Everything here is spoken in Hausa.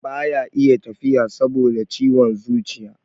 baya iya tafiya saboda ciwon zuciya